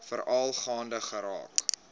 veral gaande geraak